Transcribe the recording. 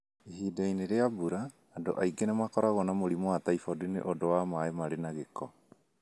Ihinda-inĩ rĩa mbura, andũ aingĩ nĩ makoragwo na mũrimũ wa typhoid nĩ ũndũ wa maĩ marĩ na gĩko.